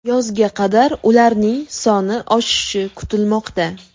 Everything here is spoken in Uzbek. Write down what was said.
Yozga qadar ularning soni oshishi kutilmoqda.